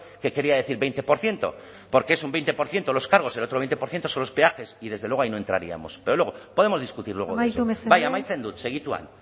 que quería decir veinte por ciento porque es un veinte por ciento los cargos el otro veinte por ciento son los peajes y desde luego ahí no entraríamos pero luego podemos discutir luego amaitu mesedez bai amaitzen dut segituan